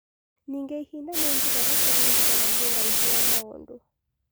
Ningĩ ihinda nĩ njĩra ĩrĩa tũringithanagia ũraihu wa maũndũ.